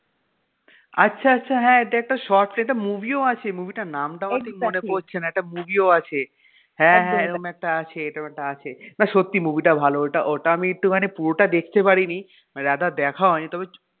আচ্ছা আচ্ছা হ্যাঁ এটা short এটা একটা movie ও আছে movie টার নামটা আমার ঠিক মনে পরছেনা একটা movie ও আছে হ্যাঁ হ্যাঁ এরম একটা আছে না সত্যি movie টা ভালো ওটা আমি একটুখানি পুরোটা দেখতে পারিনি মানে rather দেখা হয়নি